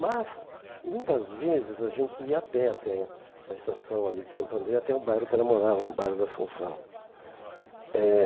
Mas, muitas vezes, a gente ia a pé até a estação ali de Santo André, até o bairro que ela morava, no bairro da Assunção. Eh